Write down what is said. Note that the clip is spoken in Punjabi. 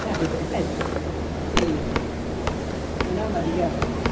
ਅੱਛਾ ਅੱਛਾ ਠੀਕ ਹੈ ਉਹਨਾਂ ਵਧੀਆ ਵਧੀਆ